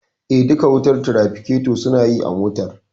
Duka wutar tirafiketo suna yi a motar